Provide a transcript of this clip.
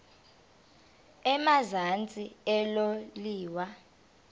emazantsi elo liwa